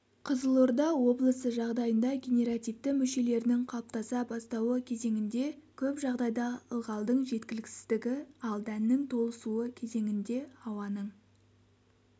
қызылорда облысы жағдайында генеративті мүшелерінің қалыптаса бастауы кезеңінде көп жағдайда ылғалдың жеткіліксіздігі ал дәннің толысуы кезеңінде ауаның